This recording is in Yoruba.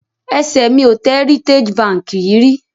Ẹsẹ̀ mi ò tẹ Heritage Bank yìí rí